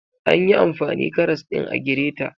Anyi amfani karas ɗin a gireta